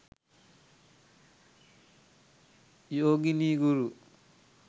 yogini guru